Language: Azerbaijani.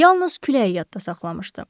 Yalnız küləyi yadda saxlamışdı.